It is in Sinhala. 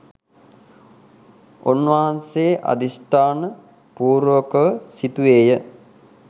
උන්වහන්සේ අධිෂ්ඨාන පූර්වකව සිතුවේය.